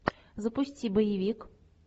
запусти боевик